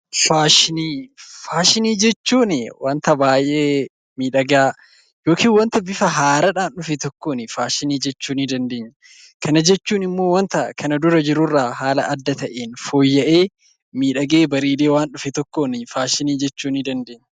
Faashini jechuun wanta baay'ee miidhagaa yookin wanta bifa haaradhaan dhufe tokkon faashini jechuu ni dandeenya. Kan jechuun immoo wanta kana dura jiru irraa haala adda ta'ewn fooya'ee, miidhagee, bareede waan dhufe tokkon faashini jechuu ni dandeenya.